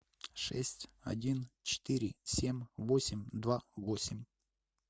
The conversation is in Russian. шесть один четыре семь восемь два восемь